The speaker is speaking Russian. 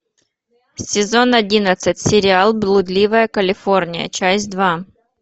сезон одиннадцать сериал блудливая калифорния часть два